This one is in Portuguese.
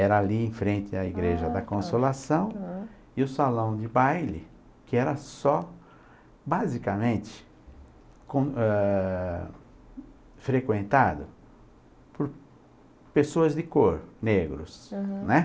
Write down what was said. Era ali em frente à Igreja da Consolação e o salão de baile, que era só, basicamente, com, eh.... frequentado por pessoas de cor, negros, uhum, né?